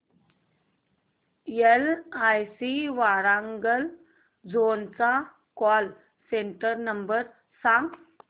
LIC Warangal zone चा call centre number सांग